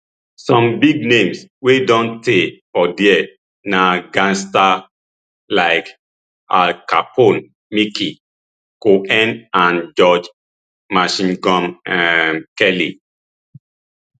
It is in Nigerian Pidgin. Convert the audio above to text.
some big names wey don stay for dia na gangsters like al capone mickey cohen and george machine gun um kelly